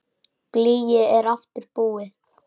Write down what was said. Blýið er aftur búið.